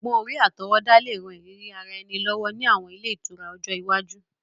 Ogbón-orí àtọwọ́dá le ran ìrírí ara ẹni lọ́wọ́ ni àwọn ile itura ọjọ́ iwaju.